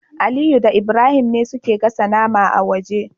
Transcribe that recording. Aliyu da Ibrahim ne suke gasa nama a waje